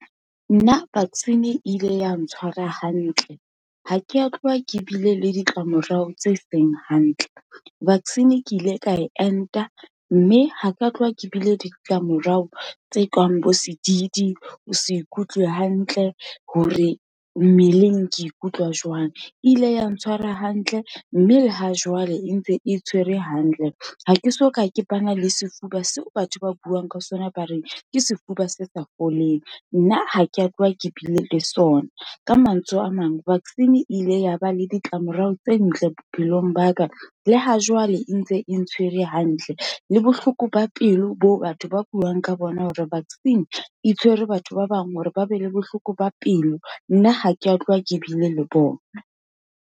Nna vaccine e ile ya ntshwara hantle, ha ke ya tloha ke bile le ditlamorao tse seng hantle, vaccine ke ile ka enta, mme haka tloha ke bile ditlamorao tse kang bo sedidi, ho se ikutlwe hantle, hore mmeleng ke ikutlwa jwang. E ile ya ntshwara hantle, mme le ha jwale e ntse e tshwere hantle. Ha ke soka ke bana le sefuba seo batho ba buang ka sona ba reng, ke sefuba se sa foleng. Nna ha ke a tloha ke bile le sona, ka mantswe a mang, vaccine e ile ya ba le ditlamorao tse ntle bophelong ba ka, le ha jwale e ntse e ntshwere hantle, le bohloko ba pelo bo batho ba buang ka bona, hore vaccine e tshwere batho ba bang, hore ba be le bohloko ba pelo. Nna ha ke ya tloha ke bile le bona.